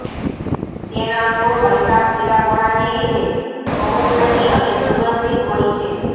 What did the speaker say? તેના મૂળ હલકા પીળાપણા ને લીધે ભહુખંડી અને સુગંધિત હોય છે